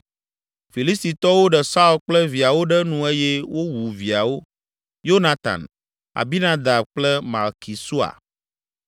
Filistitɔwo ɖe Saul kple viawo ɖe nu eye wowu viawo; Yonatan, Abinadab kple Malki Sua.